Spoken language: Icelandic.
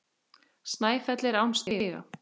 Snæfell er án stiga.